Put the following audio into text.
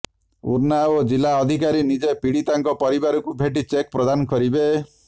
ଉନ୍ନାଓ ଜିଲ୍ଲା ଅଧିକାରୀ ନିଜେ ପୀଡ଼ିତାଙ୍କ ପରିବାରକୁ ଭେଟି ଚେକ୍ ପ୍ରଦାନ କରିବେ